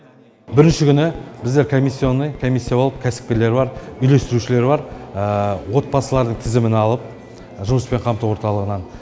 бірінші күні біздер комиссионный комиссия болып кәсіпкерлер бар үйлестірушілер бар отбасылардың тізімін алып жұмыспен қамту орталығынан